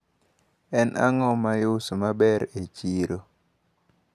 En ang`o maiuso maber e chiro?